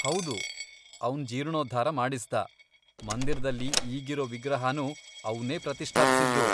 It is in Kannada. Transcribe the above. ಹೌದು, ಅವ್ನ್ ಜೀರ್ಣೋದ್ಧಾರ ಮಾಡಿಸ್ದ, ಮಂದಿರ್ದಲ್ಲಿ ಈಗಿರೋ ವಿಗ್ರಹನೂ ಅವ್ನೇ ಪ್ರತಿಷ್ಠಾಪ್ಸಿದ್ದು.